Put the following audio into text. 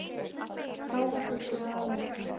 Þá var húsið alelda.